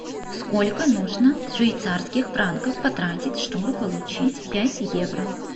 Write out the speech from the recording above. сколько нужно швейцарских франков потратить чтобы получить пять евро